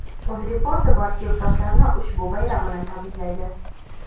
Uzreport barcha yurtdoshlarni ushbu bayram bilan tabriklaydi!.